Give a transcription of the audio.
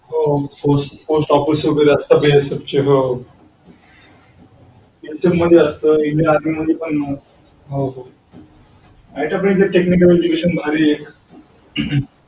हो हो post office वगैरे असता